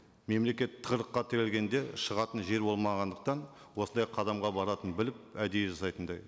мемлекет тығырыққа тірелгенде шығатын жер болмағандықтан осындай қадамға баратынын біліп әдейі жасайтындай